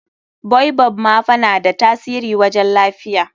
baobab ma fa na da tasiri wajen lafiya.